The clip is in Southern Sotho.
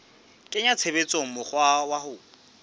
kenya tshebetsong mokgwa wa ho